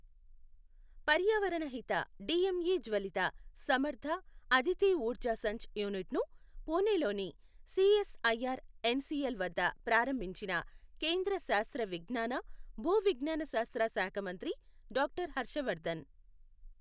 పర్యావరణ హిత, డిఎంఇ జ్వలిత, సమర్ధ, అదితిఊర్జా సంచ్ యూనిట్ను పూణేలోని సిఎస్ఐఆర్ ఎన్సిఎల్ వద్ద ప్రారంభించిన కేంద్ర శాస్త్ర విజ్ఞాన, భూ విజ్ఞాన శాస్త్ర శాఖమంత్రి డాక్టర్ హర్షవర్ధన్.